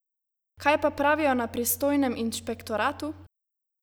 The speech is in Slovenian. Kaj pa pravijo na pristojnem inšpektoratu?